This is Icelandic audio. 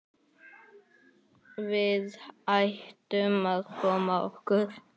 Við ættum að koma okkur.